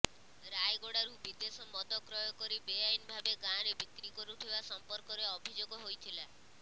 ରାୟଗଡ଼ାରୁ ବିଦେଶ ମଦ କ୍ରୟ କରି ବେଆଇନ ଭାବେ ଗାଁରେ ବିକ୍ରି କରୁଥିବା ସଂପର୍କରେ ଅଭିଯୋଗ ହୋଇଥିଲା